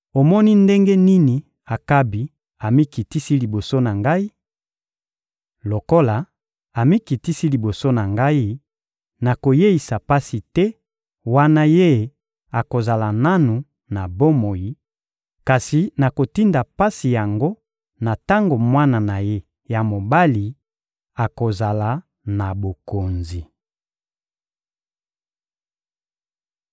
«Omoni ndenge nini Akabi amikitisi liboso na Ngai? Lokola amikitisi liboso na ngai, nakoyeisa pasi te wana ye akozala nanu na bomoi; kasi nakotinda pasi yango na tango mwana na ye ya mobali akozala na bokonzi.»